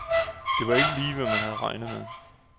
Det var ikke lige, hvad man havde regnet med.